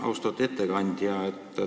Austatud ettekandja!